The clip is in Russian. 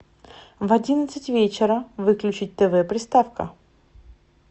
в одиннадцать вечера выключить тв приставка